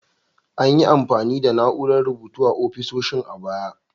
An yi amfani da na'urar rubutu a ofisoshin a baya.